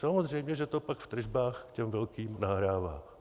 Samozřejmě že to pak v tržbách těm velkým nahrává.